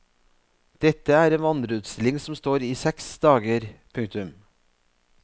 Dette er en vandreutstilling som står i seks dager. punktum